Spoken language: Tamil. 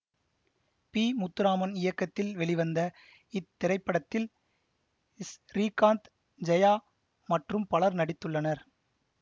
பி முத்துராமன் இயக்கத்தில் வெளிவந்த இத்திரைப்படத்தில் ஸ்ரீகாந்த் ஜெயா மற்றும் பலர் நடித்துள்ளனர்